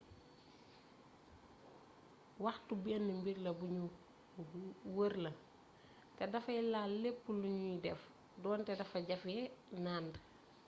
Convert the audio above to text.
waxtu benn mbir la buñu wër la te dafay laal lépp luñuy def donte dafa jafe nànd